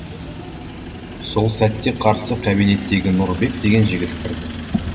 сол сәтте қарсы кабинеттегі нұрбек деген жігіт кірді